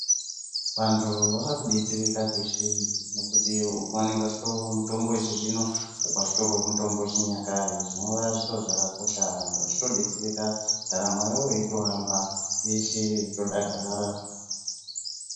Vantu vakudetsera kweshe ngokuti ukuvanenge vachitorowo mutombo wechizvino ukowo vachitora mutombo wechinyakare zvinova zviro zvakakosha vanhu vachitodetsereka ndaramo yavo yeitohamba veshe veitodakara.